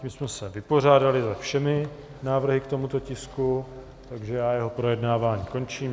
Tím jsme se vypořádali se všemi návrhy k tomuto tisku, takže já jeho projednávání končím.